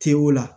Te o la